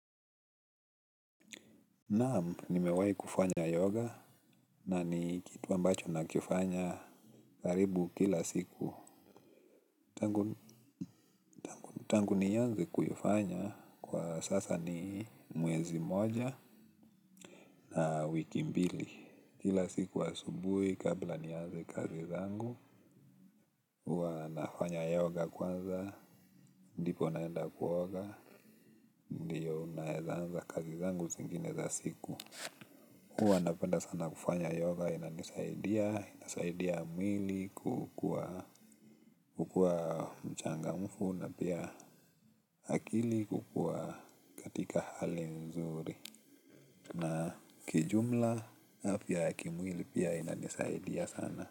Naamu, nimewai kufanya yoga na ni kitu ambacho nakifanya karibu kila siku. Tangu ni yanze kuyufanya kwa sasa ni mwezi moja na wiki mbili. Kila siku asubui kabla niyanze kazi zangu huwa nafanya yoga. Ndipo naenda kuoga, ndiyo naezanza kazi zangu zingine za siku. Huwa napenda sana kufanya yoga inanisaidia na inasaidia mwili kuwa pia mchangamfu na akili iko kwenye hali nzuri na ki jumla afya ya kimwili pia inanisaidia sana.